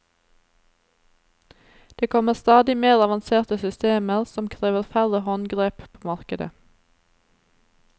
Det kommer stadig mer avanserte systemer, som krever færre håndgrep, på markedet.